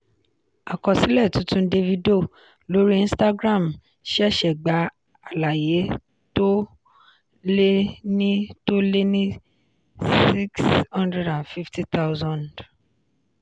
àkọsílẹ̀ tuntun davido lórí instagram ṣẹ̀ṣẹ̀ gba àlàyé tó lé ní tó lé ní sixty five thousand.